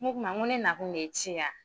O k'u ma ko ne nakun de ye ci ye a.